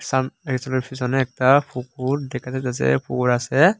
সাম রেসলের ফিসোনে একতা পুকুর দেখা যাইতাসে পুকুর আসে।